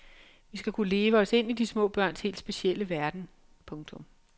Vi skal kunne leve os ind i små børns helt specielle verden. punktum